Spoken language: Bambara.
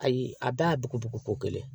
Ayi a bɛɛ y'a ko ko kelen ye